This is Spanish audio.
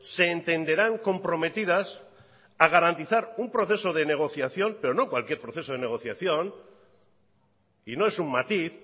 se entenderán comprometidas a garantizar un proceso de negociación pero no cualquier proceso de negociación y no es un matiz